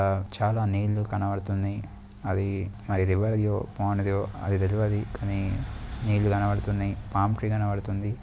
ఆ చాలానీరు కనపడుతుంది అది కాని నీళ్ళు కనపడుతుంది తాటి చెట్టు కనపడుతుంది.